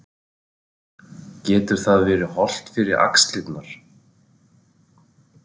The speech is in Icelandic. Getur það verið hollt fyrir axlirnar?